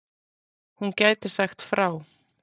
Hún gæti sagt frá.